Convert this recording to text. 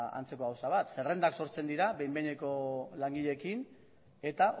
antzeko gauza bat zerrendak sortzen dira behin behineko langileekin eta